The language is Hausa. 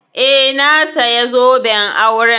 Eh, na saya zoben auren